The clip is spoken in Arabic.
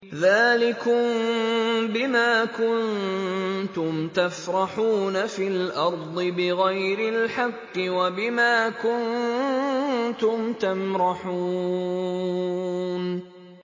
ذَٰلِكُم بِمَا كُنتُمْ تَفْرَحُونَ فِي الْأَرْضِ بِغَيْرِ الْحَقِّ وَبِمَا كُنتُمْ تَمْرَحُونَ